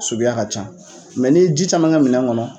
Sukuya ka ca. n'i ye ji caman kɛ minɛn kɔnɔ.